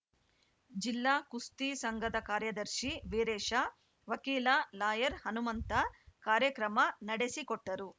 ಜಿಲ್ಲಾ ಕುಸ್ತಿ ಸಂಘದ ಕಾರ್ಯದರ್ಶಿ ವೀರೇಶ ವಕೀಲ ಲಾಯರ್‌ ಹನುಮಂತ ಕಾರ್ಯಕ್ರಮ ನಡೆಸಿಕೊಟ್ಟರು